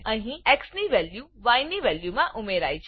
અહી એક્સ ની વેલ્યુ yની વેલ્યુ માં ઉમેરાય છે